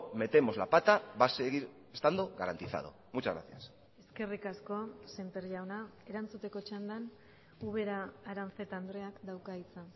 metemos la pata va a seguir estando garantizado muchas gracias eskerrik asko semper jauna erantzuteko txandan ubera aranzeta andreak dauka hitza